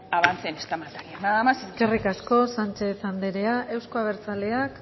avance en esta materia nada más muchas gracias eskerrik asko sánchez andrea euzko abertzaleak